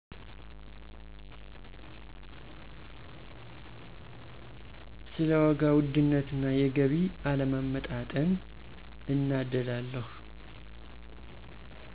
ስለ ዋጋ ውድነት እና የገቢ አለመመጣጠን እናደዳለሁ።